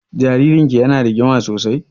Jaririn ki ya na rigima sosai?